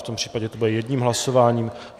V tom případě to bude jedním hlasováním.